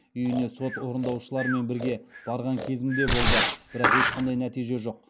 үйіне сот орындаушыларымен бірге барған кезім де болды бірақ ешқандай нәтиже жоқ